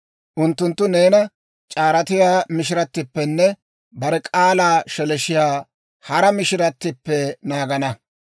Unttunttu neena c'aaratiyaa mishiratippenne bare k'aalan sheleeshshiyaa hara mishiratippe naagana.